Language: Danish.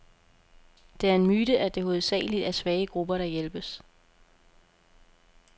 Det er en myte, at det hovedsageligt er svage grupper, der hjælpes.